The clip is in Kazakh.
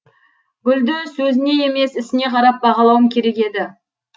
гүлді сөзіне емес ісіне қарап бағалауым керек еді